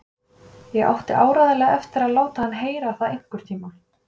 Ég átti áreiðanlega eftir að láta hann heyra það einhvern tíma.